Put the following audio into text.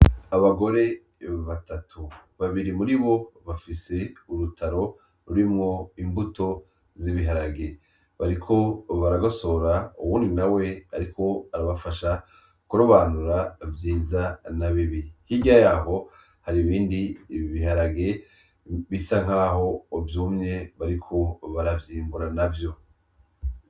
Abagore batatu ,babiri muribo bafise urutaro rurimwo imbuto z'ibiharage bariko baragosora uwundi nawe ariko arabafasha kurobanura vyiza nabibi ,hirya yaho hari ibindi biharage bisa nkaho vy'umye bariko baravyimbura navyo.